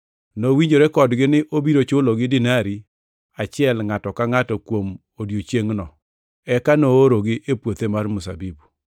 Nowinjore kodgi ni nobiro chulogi dinari achiel ngʼato ka ngʼato kuom odiechiengʼno, eka noorogi e puothe mar mzabibu.